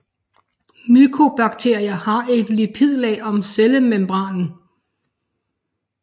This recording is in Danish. Mykobakterier har et lipidlag om cellemembranen